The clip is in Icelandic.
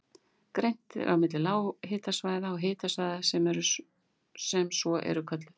Greint er á milli lághitasvæða og háhitasvæða sem svo eru kölluð.